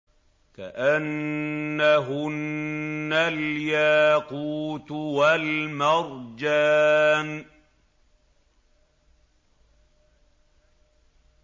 كَأَنَّهُنَّ الْيَاقُوتُ وَالْمَرْجَانُ